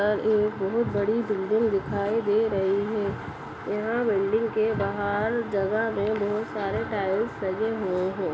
और एक बहोत बड़ी बिल्डिंग दिखाई दे रही है यहाँ बिल्डिंग के बहार जगह में बहोत सारे टाइलस लगे हुए हैं।